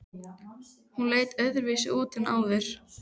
Hún leit öðruvísi út en áður.